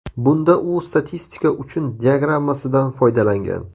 Bunda u statistika uchun diagrammasidan foydalangan.